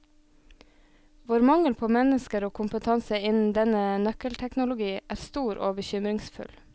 Vår mangel på mennesker og kompetanse innen denne nøkkelteknologi er stor og bekymringsfull.